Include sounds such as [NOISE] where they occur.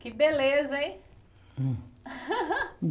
Que beleza, hein? [LAUGHS]